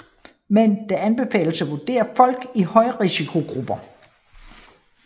Men det anbefales at vurdere folk i højrisikogrupper